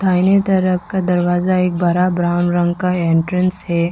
दाहिने तरफ का दरवाजा एक बड़ा ब्राउन रंग का एंट्रेंस है।